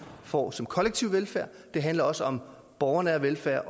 får som kollektiv velfærd det handler også om borgernær velfærd